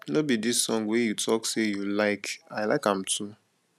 no be dis song wey you talk say you like i like am too